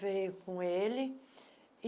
Veio com ele.